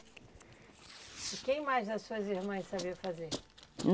E quem mais das suas irmãs sabia fazer?